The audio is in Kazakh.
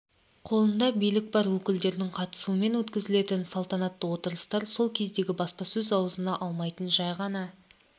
қолында билік бар өкілдердің қатысуымен өткізілетін салтанатты отырыстар сол кездегі баспасөз аузына алмайтын жай ғана